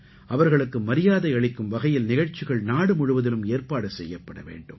அவர்களுக்கு மரியாதை அளிக்கும் வகையில் நிகழ்ச்சிகள் நாடுமுழுவதிலும் ஏற்பாடு செய்யப்பட வேண்டும்